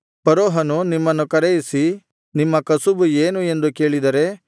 ಫರೋಹನು ನಿಮ್ಮನ್ನು ಕರೆಯಿಸಿ ನಿಮ್ಮ ಕಸುಬು ಏನು ಎಂದು ಕೇಳಿದರೆ